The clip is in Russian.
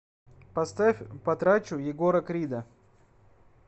поставь потрачу егора крида